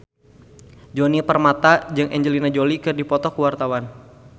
Djoni Permato jeung Angelina Jolie keur dipoto ku wartawan